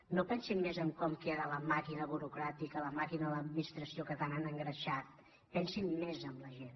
no pensin més en com queda la màquina burocràtica la màquina de l’administració que tant han engreixat pensin més en la gent